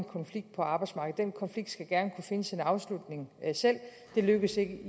konflikt på arbejdsmarkedet den konflikt skal gerne kunne finde sin afslutning selv det lykkedes ikke